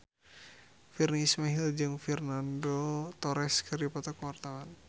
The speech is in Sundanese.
Virnie Ismail jeung Fernando Torres keur dipoto ku wartawan